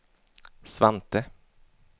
Svante